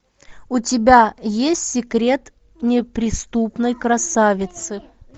у тебя есть секрет неприступной красавицы